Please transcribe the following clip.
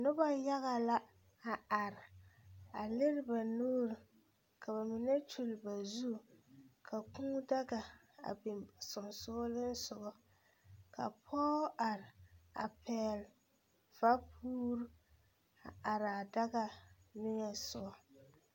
Noba yaga la a are a lere ba nuuri ka ba mine kyulli ba zu ka Kūū daga biŋ sensoglesoga ka pɔge are a pɛgle vapuuri a are a daga niŋesogɔ.